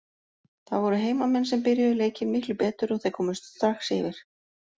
Það voru heimamenn sem byrjuðu leikinn miklu betur og þeir komust strax yfir.